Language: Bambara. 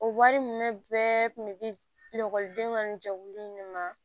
O wari ninnu bɛɛ kun bɛ di ekɔlidenw ka ni jɛkulu in de ma